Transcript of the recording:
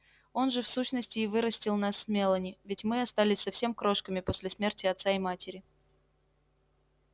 он же в сущности и вырастил нас с мелани ведь мы остались совсем крошками после смерти отца и матери